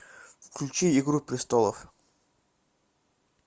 включи игру престолов